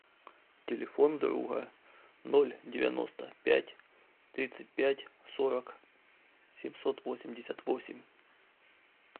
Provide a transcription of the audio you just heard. телефон друга ноль девяносто пять тридцать пять сорок семьсот восемьдесят восемь